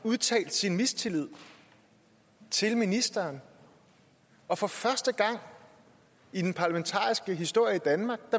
udtalt sin mistillid til ministeren og for første gang i den parlamentariske historie i danmark